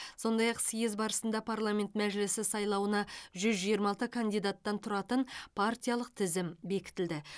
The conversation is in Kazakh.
сондай ақ съезд барысында парламент мәжілісі сайлауына жүз жиырма алты кандидаттан тұратын партиялық тізім бекітілді